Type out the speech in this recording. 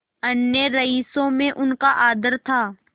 अन्य रईसों में उनका आदर था